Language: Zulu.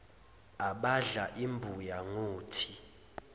abadla imbuya ngothi